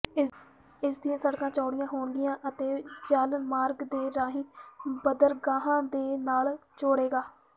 ਇਸ ਦੀਆਂ ਸਡ਼ਕਾਂ ਚੌਡ਼ੀਆਂ ਹੋਣਗੀਆਂ ਅਤੇ ਜਲ ਮਾਰਗ ਦੇ ਰਾਹੀਂ ਬੰਦਰਗਾਹਾਂ ਦੇ ਨਾਲ ਜੁਡ਼ੇਗਾ